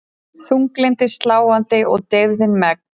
Þunglyndið sláandi og deyfðin megn.